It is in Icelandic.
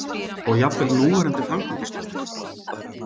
Og jafnvel núverandi framkvæmdastjóri?